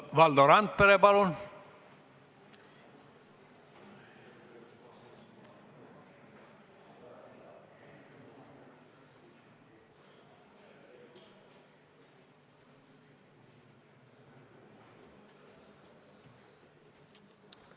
Valdo Randpere, palun!